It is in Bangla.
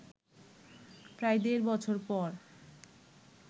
প্রায় দেড় বছর পর